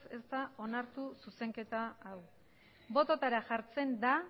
ez da onartu zuzenketa hau bototara jartzen da